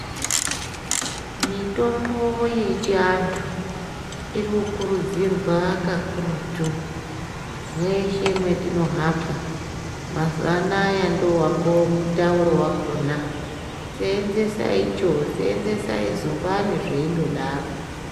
Mitombo yechiantu irikukurudzirwa kakurutu, mweshe mwetinohamba, mazuwa anaa ndowangomutaura wakhona seenzesa icho seenzesai zumbani zveindodaro.